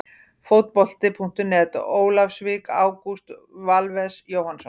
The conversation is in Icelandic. Fótbolti.net, Ólafsvík- Ágúst Valves Jóhannsson.